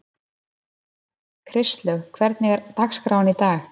Kristlaug, hvernig er dagskráin í dag?